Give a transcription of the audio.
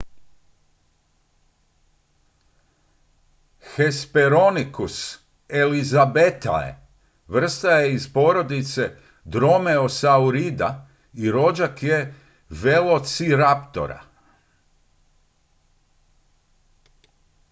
hesperonychus elizabethae vrsta je iz porodice dromeosaurida i rođak je velociraptora